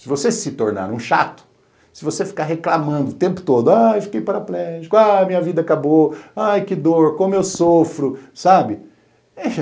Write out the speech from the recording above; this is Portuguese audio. Se você se tornar um chato, se você ficar reclamando o tempo todo, ai, fiquei paraplégico, ai, minha vida acabou, ai, que dor, como eu sofro, sabe?